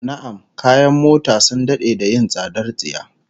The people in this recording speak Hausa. Na'am, kayan mota sun dade da yin tsadar tsiya